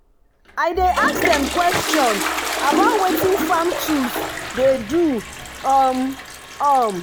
i dey ask dem question about wetin farm tools dey do. um um